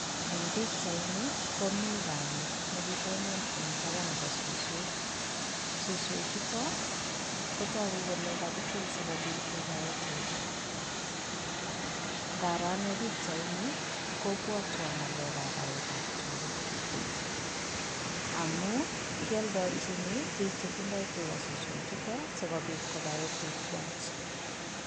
Eng' pikchaini komii kamet nekitonon eng' tapan nepo suswek, suswek chutok kotogu kole kagitil sikopit kepae tuga, ngaro anee pikchaini kopwatwan ng'alek ab paet ab tuga amun kiadochini piik chetindoy tuga suswek chutok sikopit kopae tuga kwach.